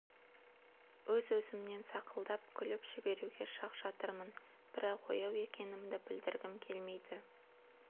өз-өзімнен сақылдап күліп жіберуге шақ жатырмын бірақ ояу екенімді білдіргім келмейді